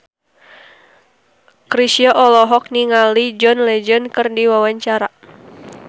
Chrisye olohok ningali John Legend keur diwawancara